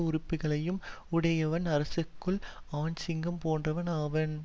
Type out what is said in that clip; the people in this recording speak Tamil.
உறுப்புக்களையும் உடையவன் அரசர்களுள் ஆண் சிங்கம் போன்றவன் ஆவன்